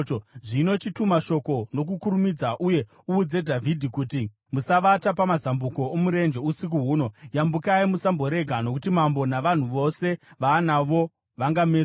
Zvino chituma shoko nokukurumidza uye uudze Dhavhidhi kuti, ‘Musavata pamazambuko omurenje usiku huno; yambukai musamborega, nokuti mambo navanhu vose vaanavo vangamedzwa.’ ”